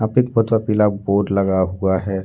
पीला बोर्ड लगा हुआ है।